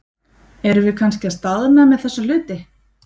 Erum við kannski að staðna með þessa hluti?